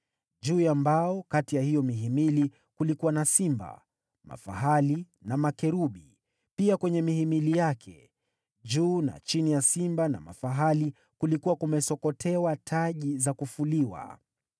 Juu ya mbao kati ya hiyo mihimili kulikuwa na simba, mafahali na makerubi, pia kwenye mihimili yake. Juu na chini ya simba na mafahali kulikuwa kumesokotewa taji za kufuliwa.